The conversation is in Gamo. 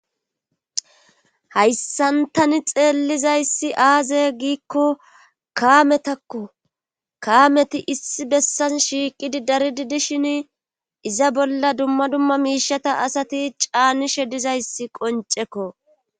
hayssantani xeellizayssi aazey giikko kaametakko kaameti issi bessan shiiqidi daridi dishin iza bolla dumma dumma miishata asati caanishe dizayssi qoncekko